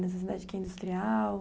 Nessa cidade que é industrial?